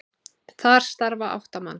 Þar starfa átta manns.